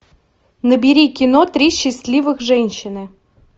набери кино три счастливых женщины